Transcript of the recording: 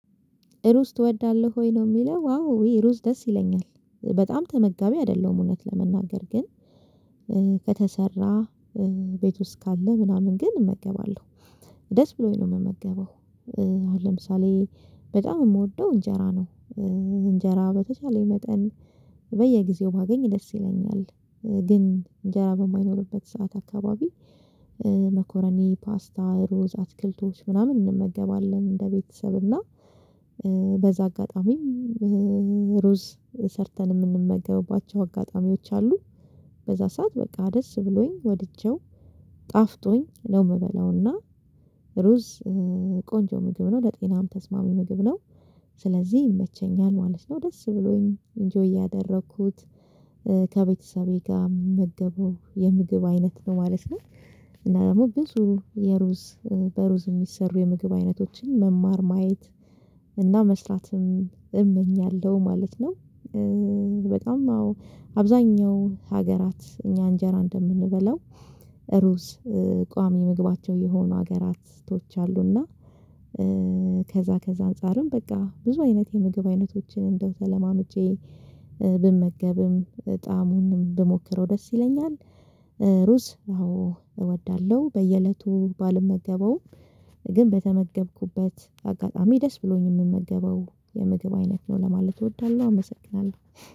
ሩዝ ትወዳለህ ወይ ነው የሚለው? አዎ ሩዝ ደስ ይለኛል በጣም ተመጋቢ አይደለሁም እውነት ለመናገር ግን ከተሰራ ቤት ውስጥ ካለ ምናምን ግን እመገባለሁ ደስ ብሎኝ ነው የምመገበው። አሁን ለምሳሌ በጣም የምወደው እንጀራ ነው። እንጀራ በተቻለ መጠን በየጊዜው ማገኝ ደስ ይለኛል። ግን እንጀራ በማይኖርበት ሰዓት አካባቢ መኮረኒ ፓስታ ሩዝ አትክልቶች ምናምን እንመገባለን እንደ ቤተሰብ እና በዛ አጋጣሚ ሩዝ ሰርተን የምንመገባቸው አጋጣሚዎች አሉ። በዛ ሰዓት በቃ ደስ ብሎኝ ወድጀው ጣፍጦኝ ነው ምበላውና ሩዝ ቆንጆ ምግብ ነው ለጤናም ተስማሚ ምግብ ነው። ስለዚህ ይመቸኛል ማለት ነው ደስ ብሎኝ ኢንጆይ ያደረኩት ከቤተሰቤ ጋር ምመገበው የምግብ አይነት ነው ማለት ነው። እና ደግሞ ብዙ የሩዝ በሩዝ የሚሰሩ የምግብ አይነቶችን መማር ማየት እና መስራትም እመኛለሁ ማለት ነው። በጣም አዎ አብዛኛው ሀገራት እኛ እንጀራ እንደምንበላው ሩዝ ቋሚ ምግባቸው የሆኑ ሀገራቶች አሉና። ከዛ ከዛ አንፃርም በቃ ብዙ አይነት የምግብ አይነቶችን እንደው ተለማምጬ ብመገብም ጣሙንም ብሞክረው ደስ ይለኛል። ሩዝ አዎ እወዳለሁ በየእለቱ ባልመገበውም ግን በተመገብኩበት አጋጣሚ ደስ ብሎኝ የምመገበው የምግብ አይነት ነው ለማለት እወዳለሁ። አመሰግናለሁ